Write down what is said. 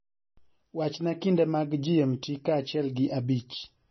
wachna kinde mag g.m.t. kaachiel gi abich